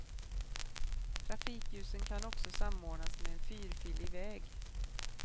Trafikljusen kan också samordnas med en fyrfilig väg.